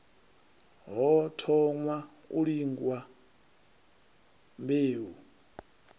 hu thoṅwa u lingwa mbeu